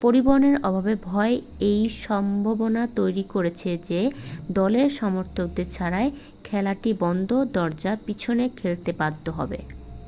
পরিবহনের অভাবের ভয় এই সম্ভাবনা তৈরি করেছে যে দলের সমর্থকদের ছাড়াই খেলাটি বন্ধ দরজার পিছনে খেলতে বাধ্য হবে